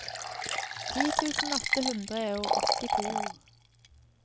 ti tusen åtte hundre og åttito